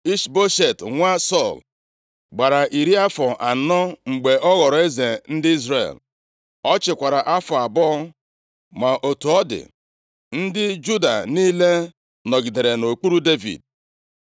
Ishboshet nwa Sọl gbara iri afọ anọ mgbe ọ ghọrọ eze ndị Izrel. Ọ chịkwara afọ abụọ. Ma otu ọ dị, ndị Juda niile nọgidere nʼokpuru Devid.